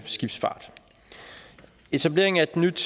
skibsfart etableringen af et nyt